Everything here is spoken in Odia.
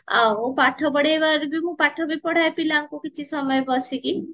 ଆଉ ପାଠ ପାଢେଇବାରେ ବି ମୁଁ ପାଠ ବି ପଢାୟେ ପିଲାଙ୍କୁ କିଛି ସମଯେ ବସିକି